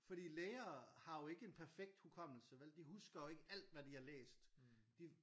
Fordi læger har jo ikke en perfekt hukommelse vel de husker jo ikke alt hvad de har læst de